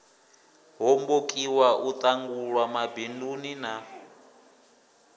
hombokiwa u ṱangulwa mabinduni na